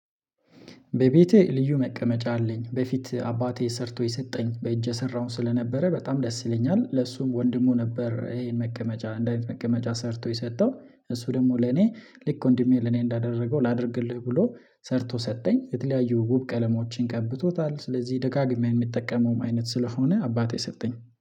በቤቴ ልዩ መቀመጫ አለኝ በፊት አባቴ ሰርቶ የሰጠኝ በእጄ ሰራውም ስለነበረ በጣም ደስ ይለኛል ለሱም ወንድሙ ነበር ይሄን መቀመጫ እንደ አይነት መቀመጫ ሰርቶ የሰጠው እሱ ደግሞ ለኔ ልክ ወንድሜ ለኔ እንዳደረገው ላድርግልህ ብሎ ሰርቶ ሰጠኝ፤ የተለያዩ ውብ ቀለማዎችን ቀብቶታል ስለዚህ ደጋግሜ የምጠቀመውም አይነት ስለሆነ አባቴ ሰጠኝ።